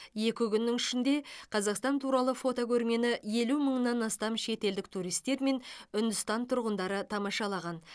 екі күннің ішінде қазақстан туралы фотокөрмені елу мыңнан астам шетелдік туристер мен үндістан тұрғындары тамашалаған